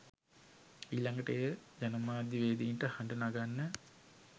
ඊළඟට ඒ ජනමාධ්‍යවේදීන්ට හඬ නගන්න